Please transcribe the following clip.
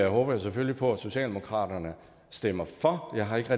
håber selvfølgelig på at socialdemokratiet stemmer for jeg har ikke